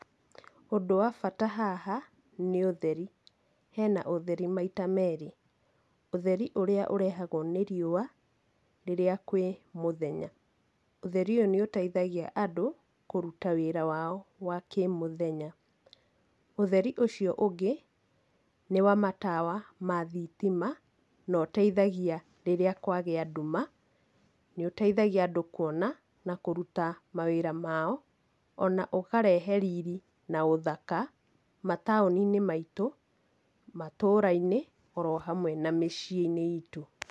Ũndũ wa bata haha, nĩ ũtheri. Hena ũtheri maita meerĩ. Ũtheri ũrĩa ũrehagwo nĩ riũa rĩrĩa kwĩ mũthenya. Ũtheri ũyũ nĩ ũteithagia andũ kũruta wĩra wao wa kĩmũthenya. Ũtheri ũcio ũngĩ, nĩ wa matawa ma thitima na ũteithagia rĩrĩa kwagĩa nduma nĩ ũteithagia andũ kuona na kũruta mawĩra mao, ona ũkarehe riri na ũthaka mataũni-inĩ maitũ, matũra-inĩ oro hamwe na maciĩ-inĩ itũ.